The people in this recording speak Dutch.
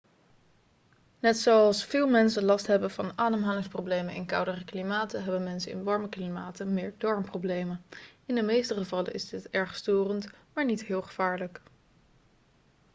net zoals veel mensen last hebben van ademhalingsproblemen in koudere klimaten hebben mensen in warme klimaten meer darmproblemen in de meeste gevallen is dit erg storend maar niet heel gevaarlijk